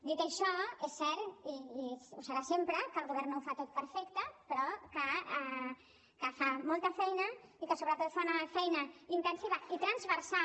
dit això és cert i ho serà sempre que el govern no ho fa tot perfecte però que fa molta feina i que sobretot fa una feina intensiva i transversal